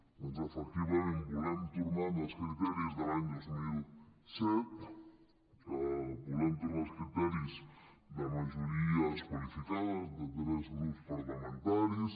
doncs efectivament volem tornar als criteris de l’any dos mil set volem tornar als criteris de ma·jories qualificades de tres grups parlamentaris